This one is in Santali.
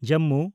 ᱡᱚᱢᱢᱩ